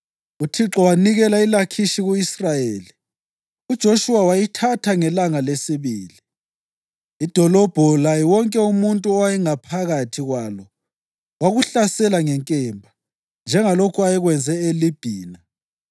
UThixo wanikela iLakhishi ku-Israyeli, uJoshuwa wayithatha ngelanga lesibili. Idolobho laye wonke umuntu owayephakathi kwalo wakuhlasela ngenkemba, njengalokho ayekwenze eLibhina.